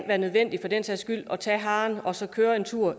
være nødvendigt at tage harven og så køre